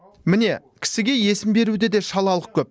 міне кісіге есім беруде де шалалық көп